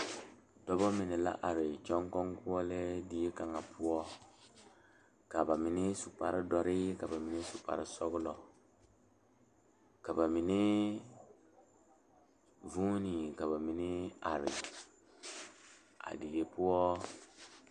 Kuriwiire la ka dɔɔba banuu a zɔŋ a a kuriwiire kaŋa eɛ ziɛ kyɛ taa peɛle kaa kuriwiire mine e sɔglɔ kyɛ ka konkobile fare a kuriwiire poɔ a e doɔre.